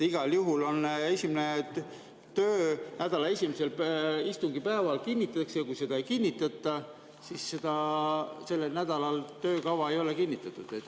Igal juhul päevakord töönädala esimesel istungipäeval kinnitatakse ja kui seda ei kinnitata, siis selle nädala töökava ei ole kinnitatud.